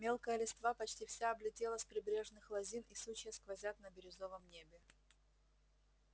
мелкая листва почти вся облетела с прибрежных лозин и сучья сквозят на бирюзовом небе